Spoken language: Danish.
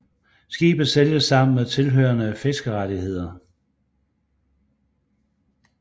Skibet sælges sammen med tilhørende fiskerettighederne